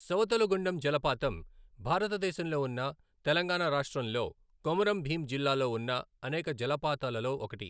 సవతుల గుండం జలపాతం, భారత్ దేశంలో ఉన్న తెలంగాణ రాష్ట్రంలో, కొమరం భీం జిల్లాలో ఉన్న అనేక జలపాతాలలో ఒకటి.